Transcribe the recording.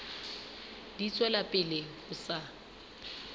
di tswela pele ho sa